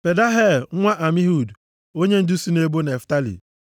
Pedahel nwa Amihud, onyendu si nʼebo Naftalị.”